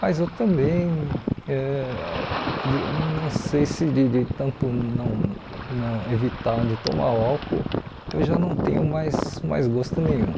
Mas eu também ãh de não sei se de de tanto não não evitar de tomar o álcool, eu já não tenho mais mais gosto nenhum.